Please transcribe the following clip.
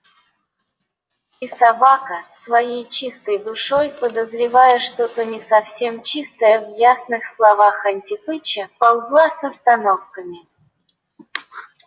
и собака своей чистой душой подозревая что-то не совсем чистое в ясных словах антипыча ползла с остановками